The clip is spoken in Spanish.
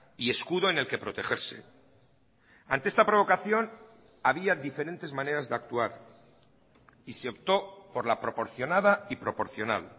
y escudo en el que protegerse ante esta provocación había diferentes maneras de actuar y se optó por la proporcionada y proporcional